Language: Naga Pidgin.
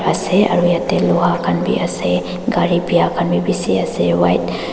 ase aro yatey loha khan bi ase gari biya khan bi bisi ase white --